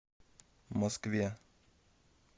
москве